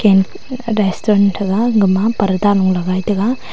an restaurant thaga gama parda lung lagai taiga.